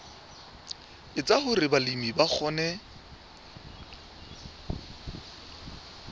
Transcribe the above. etsa hore balemi ba kgone